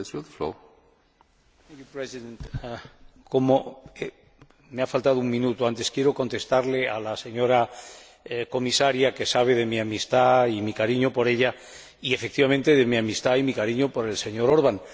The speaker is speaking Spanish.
Señor Presidente, como me ha faltado un minuto antes, quiero contestarle a la señora Comisaria que sabe de mi amistad y mi cariño por ella y, efectivamente, de mi amistad y mi cariño por el señor Orban.